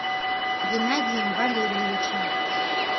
геннадием валерьевичем